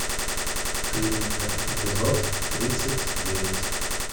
клиника эпизод тридцать девять